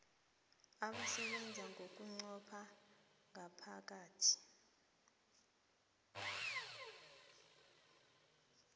abasebenza bunqopha ngomphakathi